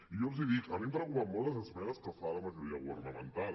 i jo els hi dic a mi em preocupen molt les esmenes que fa la majoria governamental